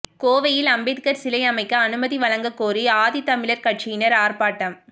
கோவையில் அம்பேத்கர் சிலை அமைக்க அனுமதி வழங்கக்கோரி ஆதித்தமிழர் கட்சியினர் ஆர்ப்பாட்டம்